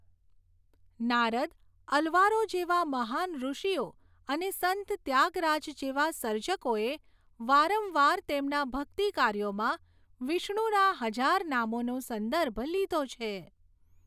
નારદ, અલ્વારો જેવા મહાન ૠષિઓ અને સંત ત્યાગરાજ જેવા સર્જકોએ વારંવાર તેમના ભક્તિ કાર્યોમાં વિષ્ણુના હજાર નામોનો સંદર્ભ લીધો છે